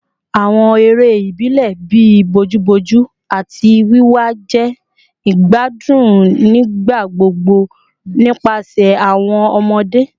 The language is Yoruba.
Awọn ere ibilẹ bii bojuboju ati wiwa jẹ igbadun nigbagbogbo nipasẹ awọn ọmọde